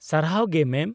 -ᱥᱟᱨᱦᱟᱣ ᱜᱮ ᱢᱮᱢ ᱾